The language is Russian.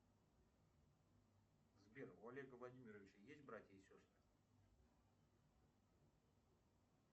сбер у олега владимировича есть братья и сестры